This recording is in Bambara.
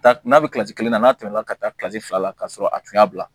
Taa n'a bɛ kilasi kelen na n'a tɛmɛna ka taa kilasi fila la ka sɔrɔ a tun y'a bila